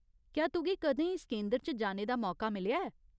क्या तुगी कदें इस केंदर च जाने दा मौका मिलेआ ऐ ?